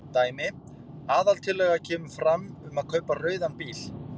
Dæmi: Aðaltillaga kemur fram um að kaupa rauðan bíl.